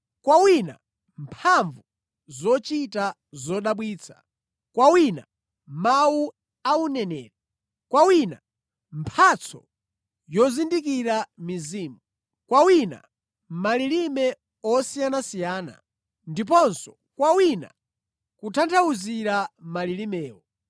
Kwa wina mphamvu zochita zodabwitsa, kwa wina mawu a uneneri, kwa wina mphatso yozindikira mizimu, kwa wina malilime osiyanasiyana, ndiponso kwa wina kutanthauzira malilimewo.